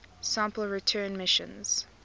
sample return missions